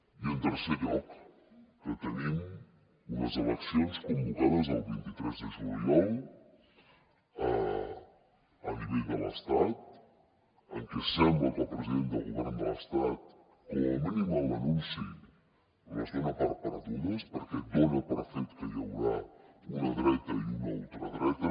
i en tercer lloc que tenim unes eleccions convocades el vint tres de juliol a nivell de l’estat en què sembla que el president del govern de l’estat com a mínim en l’anunci les dona per perdudes perquè dona per fet que hi haurà una dreta i una ultradreta